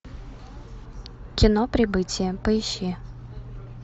кино прибытие поищи